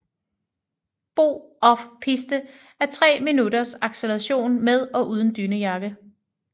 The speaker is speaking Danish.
BO OFF PISTE er tre minutters acceleration med og uden dynejakke